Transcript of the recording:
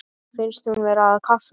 Finnst hún vera að kafna.